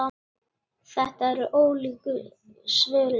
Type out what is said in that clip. Þetta eru ólíku svörin.